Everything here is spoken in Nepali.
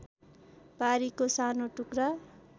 बारीको सानो टुक्रा